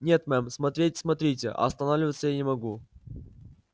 нет мэм смотреть смотрите а останавливаться я не могу